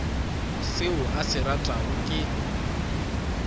seo a se ratago ke